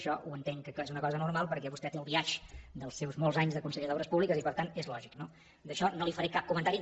això ho entenc que és una cosa normal perquè vostè té el biaix dels seus molts anys de conseller d’obres públiques i per tant és lògic no d’això no li faré cap comentari